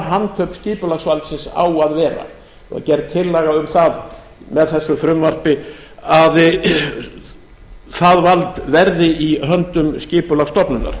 handhöfn skipulagsvaldsins á að vera og er gerð tillaga um það með þessu frumvarpi að það vald verði í höndum skipulagsstofnunar